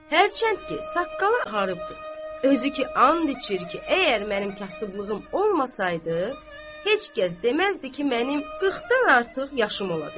Hərçənd ki, saqqalı ağarıbdır, özü ki and içir ki, əgər mənim kasıblığım olmasaydı, heç kəs deməzdi ki, mənim 40-dan artıq yaşım ola bilər.